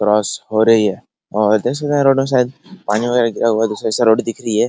Crochet हो रही है और देख सकते है रोड के साइड से पानी वगेरा गिरा हुई हैदूसरे साइड से रोड दिख रही है ।